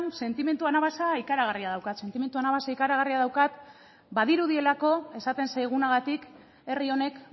sentimendu anabasa ikaragarria daukat sentimendu anabasa ikaragarria daukat badirudielako esaten zaigunagatik herri honek